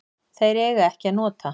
Þeir eiga ekki að nota